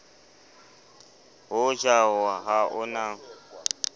ho ja ha o na